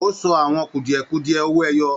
O sọ àwọn kudiẹ-kudiẹ owó ẹyọ.